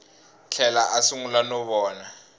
tlhela a sungula no vona